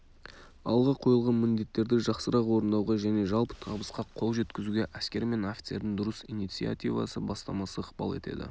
алға қойылған міндеттерді жақсырақ орындауға және жалпы табысқа қол жеткізуге әскер мен офицердің дұрыс инициативасы бастамасы ықпал етеді